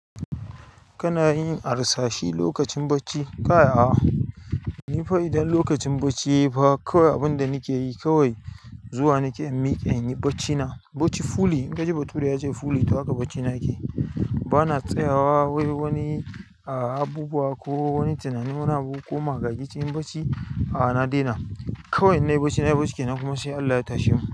Kana yin harsashe lokacin bacci? Kai, a'a. Ni fa idan lokacin bacci yayi fa kawai abin da nake yi kawai zuwa nake in miƙe in yi baccina. Bacci 'fully', in ka ji bature yace 'fully' to haka bacina yake. Bana tsayawa wai wani ah abubuwa ko wani tunanin wani abu ko magagi cikin bacci. A'a na daina kawai inna yi bacci nayi bacci kenan kuma sai Allah ya tashe mu.